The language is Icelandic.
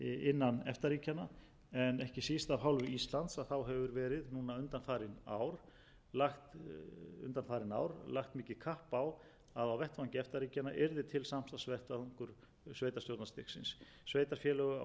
innan efta ríkjanna en ekki síst af hálfu íslands hefur verið núna undanfarin ár lagt mikið kapp á að á vettvangi efta ríkjanna yrði til samstarfsvettvangur sveitarstjórnarstigsins sveitarfélög á íslandi og í noregi hafa einkum og sér í lagi á þetta